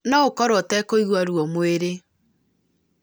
no ũkorwo ũtekũigua ruo mwĩrĩ